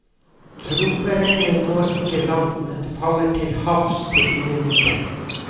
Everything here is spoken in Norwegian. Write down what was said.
Troperegnet når ikke land, men faller til havs til ingen nytte.